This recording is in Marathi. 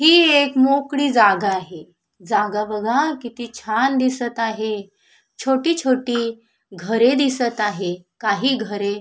ही एक मोकळी जागा आहे जागा बघा किती छान दिसत आहे छोटी छोटी घरे दिसत आहे काही घरे--